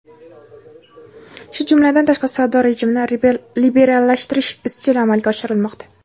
shu jumladan tashqi savdo rejimini liberallashtirish izchil amalga oshirilmoqda.